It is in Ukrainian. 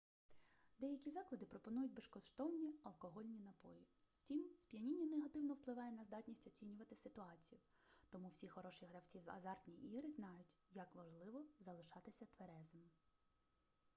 деякі заклади пропонують безкоштовні алкогольні напої втім сп'яніння негативно впливає на здатність оцінювати ситуацію тому всі хороші гравці в азартні ігри знають як важливо залишатися тверезим